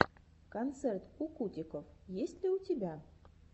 концерт кукутиков есть ли у тебя